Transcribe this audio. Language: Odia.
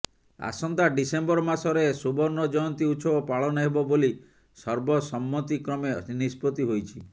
ଆସନ୍ତା ଡ଼ିସେମ୍ବର ମାସରେ ସୁବର୍ଣ୍ଣ ଜୟନ୍ତି ଉତ୍ସବ ପାଳନ ହେବ ବୋଲି ସର୍ବ ସମ୍ମତିକ୍ରମେ ନିଷ୍ପତି ହୋଇଛି